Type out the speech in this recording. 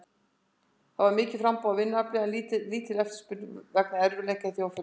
Það er mikið framboð á vinnuafli en lítil eftirspurn vegna erfiðleika í þjóðfélaginu.